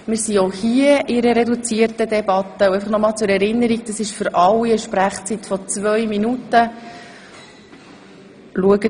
Zur Erinnerung: Alle haben eine Redezeit von zwei Minuten.